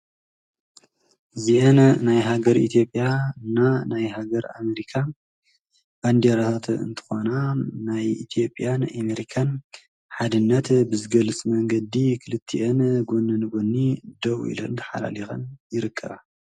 እዚአን ናይ ሃገረ ኢትዮጵያ ና ናይ ሃገረ ኣሜሪካ ባንዲራታት እንተኾና ናይ ኢትዮጵያን ኣሜሪካን ሓድነት ብዝገልፅ መንገዲ ክልቲአን ጐነ ንጎኒ ደው ኢለን ተሓላሊኸን ይርከባ